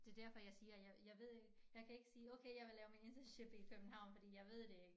Det derfor jeg siger jeg ved ikke jeg kan ikke sige okay jeg vil lave min internship i København fordi jeg ved det ikke